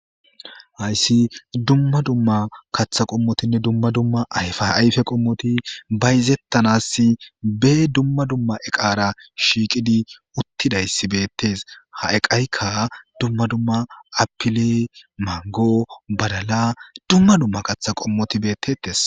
hayssi dumma dumma kaththa qommotinne dumma dumma ayfaayfe qommoti bayzettanassi be dumma dumma eqara shiiqidi uttidayssi beettes ha eqaykka dumma dumma apile mango balala dumma dumma kaththa qommoti beettettes